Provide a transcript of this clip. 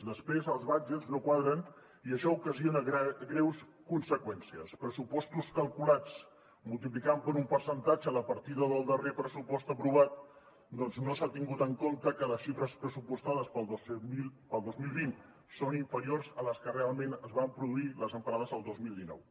després els budgets no quadren i això ocasiona greus conseqüències pressupostos calculats multiplicant per un percentatge la partida del darrer pressupost aprovat perquè no s’ha tingut en compte que les xifres pressupostades per al dos mil vint són inferiors a les que realment es van produir les emparades el dos mil dinou